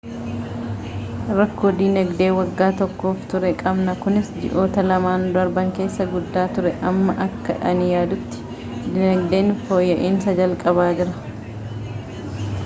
rakkoo dinagdee waggaa tokkoof ture qabna kunis ji'oota lamaan darban keessa guddaa ture amma akka ani yaadutti dinagdeen fooyya'iinsa jalqabaa jira